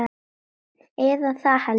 Eða það held ég.